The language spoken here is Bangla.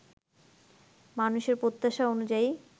মানুষের প্রত্যাশা অনুযায়ী